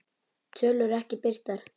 Tölur ekki birtar